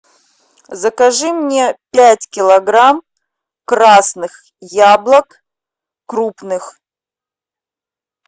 закажи мне пять килограмм красных яблок крупных